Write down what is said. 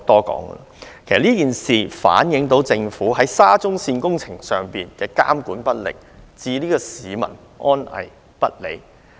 其實這件事反映政府在沙中線工程上監管不力，置市民安危於不顧。